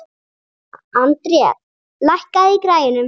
André, lækkaðu í græjunum.